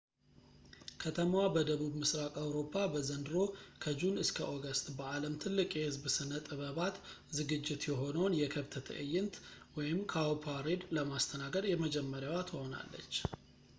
ከተማዋ በደቡብ ምሥራቅ አውሮፓ በዘንድሮ ከጁን እስከ ኦገስት በዓለም ትልቁ የሕዝብ ሥነ-ጥበባት ዝግጅት የሆነውን፣ የከብት ትዕይንት cowparade፣ ለማስተናገድ የመጀመሪያዋ ትሆናለች